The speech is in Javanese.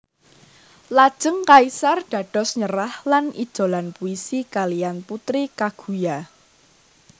Lajeng kaisar dados nyerah lan ijolan puisi kalihan Putri Kaguya